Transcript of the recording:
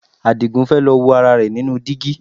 Àdìgún fẹ́ lọ wo ara rẹ̀ nínú dígí